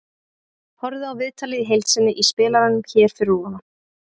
Horfðu á viðtalið í heild sinni í spilaranum hér fyrir ofan.